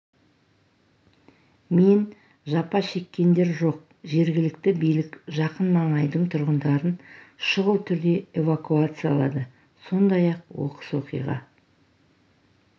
мен жапа шеккендер жоқ жергілікті билік жақын маңайдың тұрғындарын шұғыл түрде эвакуациялады сондай-ақ оқыс оқиға